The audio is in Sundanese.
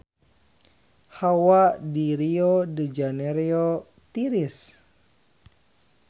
Hawa di Rio de Janairo tiris